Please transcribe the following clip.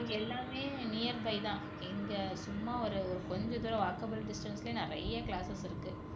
எல்லாமே nearby தான் இங்க சும்மா ஒரு ஒரு கொஞ்சதூரம் walkable distance லயே நிறைய classes இருக்கு